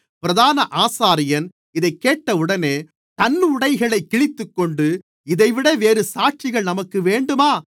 பிரதான ஆசாரியன் இதைக் கேட்டவுடனே தன் உடைகளைக் கிழித்துக்கொண்டு இதைவிட வேறுசாட்சிகள் நமக்கு வேண்டுமா